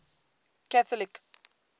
catholic